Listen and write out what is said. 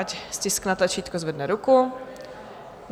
Ať stiskne tlačítko a zvedne ruku.